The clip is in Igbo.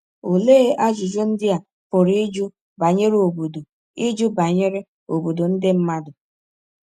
Olee ajụjụ ndị a pụrụ ịjụ banyere “obodo ịjụ banyere “obodo ndị mmadụ”?